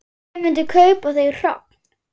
Hver myndi kaupa þau hrogn?